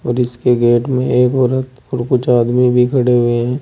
जिसके गेट में एक औरत और कुछ आदमी भी खड़े हुए हैं।